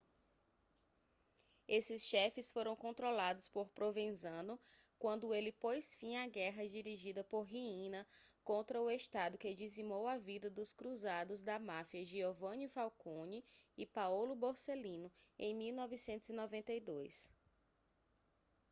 esses chefes foram controlados por provenzano quando ele pôs fim à guerra dirigida por riina contra o estado que dizimou a vida dos cruzados da máfia giovanni falcone e paolo borsellino em 1992